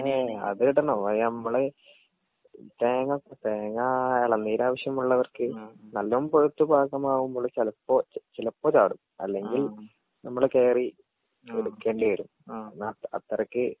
ഏ അതിടണം അത് നമ്മള് തേങ്ങ തേങ്ങാ എളനീരാവശ്യമുള്ളവർക്ക് നല്ലോം പഴുത്ത് പാകമാവുമ്പോൾ ചെലപ്പൊ ചിലപ്പൊ ചാടും അല്ലെങ്കിൽ നമ്മൾ കേറി എടുക്കേണ്ടി വെരും അത്രക്ക്.